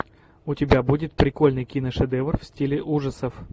у тебя будет прикольный киношедевр в стиле ужасов